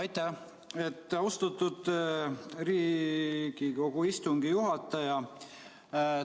Aitäh, austatud Riigikogu istungi juhataja!